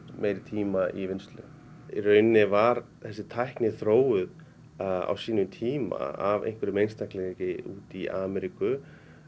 meiri tíma í vinnslu í rauninni var þessi tækni þróuð á sínum tíma af einhverjum einstaklingi í Ameríku